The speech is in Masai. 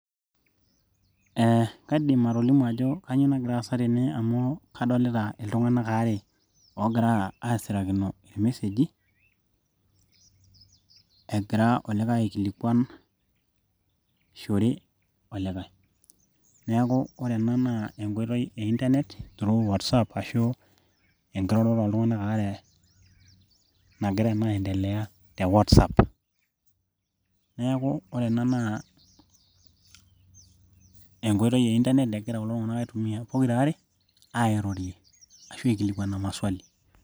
eh, kaidim atolimu ajo kanyio nagira aasa tene amu kadolita iltung'anak aare oogira asirakino irmesejiegira olikae aikilikuan shore olikae neeku ore ena naa enkoitoi e internet through whatsapp ashu enkiroroto oltung'anak aare nagira naa aendelea te whatsapp neeku ore ena naa enkoitoi e internet egira aitumia pokirare airorie ashu aikilikuana maswali.